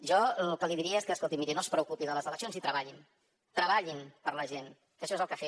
jo el que li diria és que escolti miri no es preocupi de les eleccions i treballin treballin per la gent que això és el que ha de fer